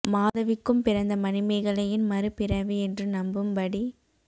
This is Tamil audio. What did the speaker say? மாதவிக்கும் பிறந்த மணிமேகலையின் மறு பிறவி என்று நம்பும்படி